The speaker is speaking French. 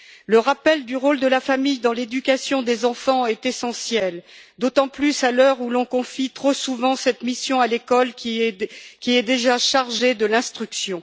Le rappel du rôle de la famille dans l'éducation des enfants est essentiel, d'autant plus à l'heure où l'on confie trop souvent cette mission à l'école, qui est déjà chargée de l'instruction.